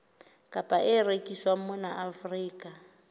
kapa e rekiswang mona afrika